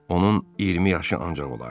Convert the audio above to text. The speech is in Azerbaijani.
Onun 20 yaşı ancaq olardı.